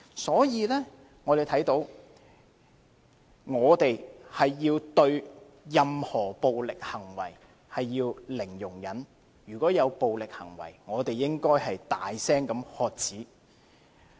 所以，我們要對任何暴力行為採取零容忍，如遇暴力行為，我們應大聲喝止。